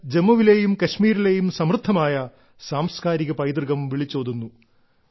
ഇത് ജമ്മുവിലെയും കശ്മീരിലെയും സമൃദ്ധമായ സാംസ്കാരിക പൈതൃകം വിളിച്ചോതുന്നു